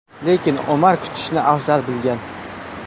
Lekin Omar kutishni afzal bilgan.